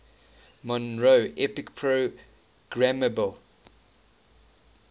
monroe epic programmable